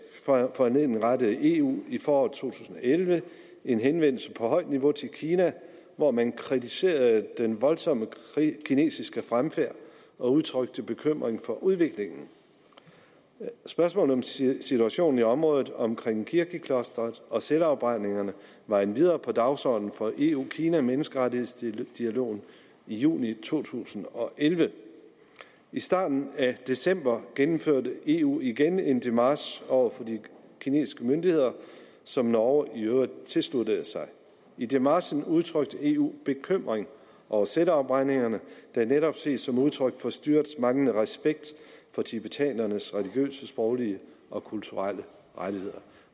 foranledning rettede eu i foråret to tusind og elleve en henvendelse til kina på højt niveau hvor man kritiserede den voldsomme kinesiske fremfærd og udtrykte bekymring for udviklingen spørgsmålet om situationen i området omkring kirtiklosteret og selvafbrændingerne var endvidere på dagsordenen for eu kina menneskerettighedsdialogen i juni to tusind og elleve i starten af december gennemførte eu igen en demarche over for de kinesiske myndigheder som norge i øvrigt tilsluttede sig i demarchen udtrykte eu bekymring over selvafbrændingerne der netop ses som et udtryk for styrets manglende respekt for tibetanernes religiøse sproglige og kulturelle rettigheder